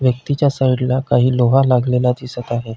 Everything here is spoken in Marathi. व्यक्तिच्या साइडला काही लोहा लागलेला दिसत आहे.